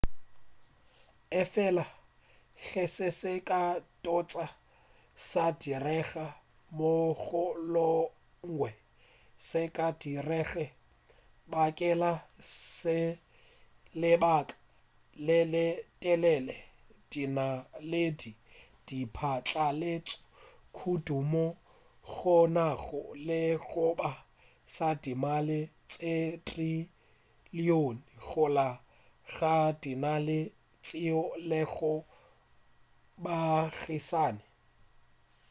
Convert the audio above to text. efela ge se se ka tsoga sa direga mohlomongwe se ka se direge bakeng sa lebaka le le telele dinaledi di phatlaletše kudu moo go nago le sekgoba sa dimaele tše trillion gare ga dinaledi tšeo e lego baagišane